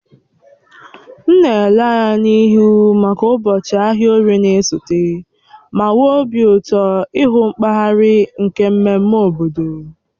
M na-ele anya n'ihu maka ụbọchị ahịa orie na-esote, ma nwee obi ụtọ ịhụ nkpaghari nke mmemme obodo.